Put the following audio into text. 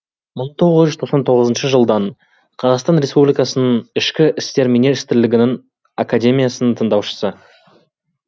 мың тоғыз жүз тоқсан тоғызыншы жылдан қазақстан респбликасының ішкі істер министрлігінің академиясының тыңдаушысы